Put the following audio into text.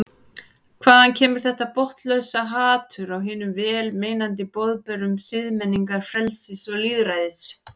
Hvaðan kemur þetta botnlausa hatur á hinum vel meinandi boðberum siðmenningar, frelsis og lýðræðis?